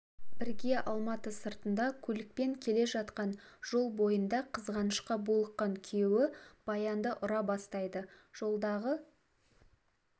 бірге алматы сыртында көлікпен келе жатқан жол бойында қызғанышқа булыққан күйеуі баянды ұра бастайды жолдағы